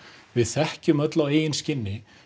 við þekkjum öll á eigin skinni